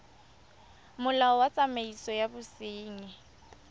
molao wa tsamaiso ya bosenyi